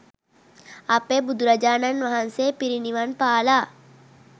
අපේ බුදුරජාණන් වහන්සේ පිරිනිවන්පාලා